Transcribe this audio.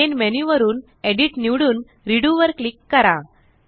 main menu वरून edit निवडून Redoवर क्लिक करा